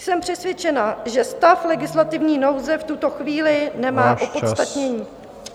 Jsem přesvědčená, že stav legislativní nouze v tuto chvíli nemá opodstatnění.